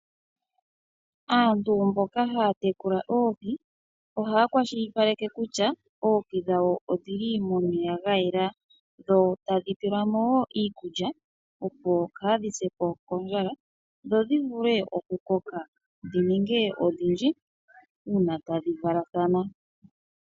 Aantu mboka haya tekula oohi ohaya kwashilipaleke kutya oohi dhawo odhi li momeya ga yela dho tadhi pelwa mo wo iikulya, opo kaadhi se po kondjala dho dhi vule okukoka dhi ninge odhindji uuna tadhi valathana.